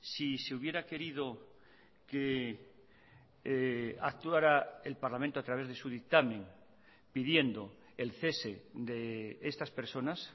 si se hubiera querido que actuara el parlamento a través de su dictamen pidiendo el cese de estas personas